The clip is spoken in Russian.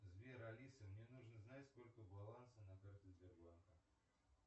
сбер алиса мне нужно знать сколько баланса на карте сбербанка